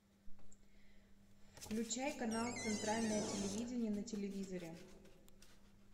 включай канал центральное телевидение на телевизоре